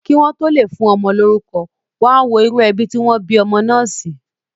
Kí wọ́n tó lè fún ọmọ lórúkọ, wọ́n á wo irú ẹbí tí wọ́n bí ọmọ náà sí.